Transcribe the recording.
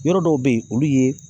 Yɔrɔ dɔw bɛ yen olu ye